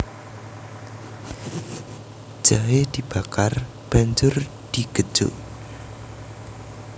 Jahe dibakar banjur digejuk